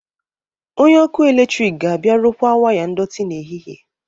Onye ọkụ eletrik ga-abịa rụkwaa waya ndọtị n'ehihie